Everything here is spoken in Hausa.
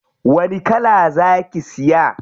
Wani kala za ki siya?